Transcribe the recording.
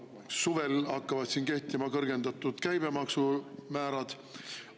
Suvel hakkavad kehtima ka kõrgendatud käibemaksumäärad.